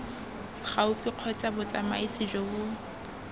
gaufi kgotsa botsamaisi jo bo